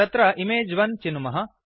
तत्र इमेज1 चिनुमः